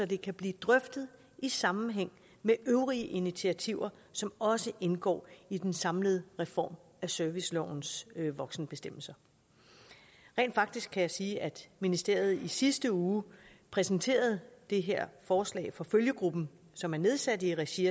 det kan blive drøftet i sammenhæng med øvrige initiativer som også indgår i den samlede reform af servicelovens voksenbestemmelser rent faktisk kan jeg sige at ministeriet i sidste uge præsenterede det her forslag for følgegruppen som er nedsat i regi